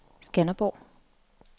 Skanderborg